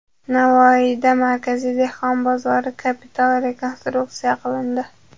Navoiyda markaziy dehqon bozori kapital rekonstruksiya qilindi.